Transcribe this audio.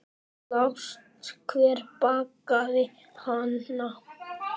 Sástu hver bakaði hana?